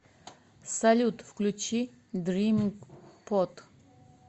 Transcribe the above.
салют включи дриминг под